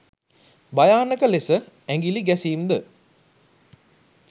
භයානක ලෙස ඇඟිළි ගැසීම් ද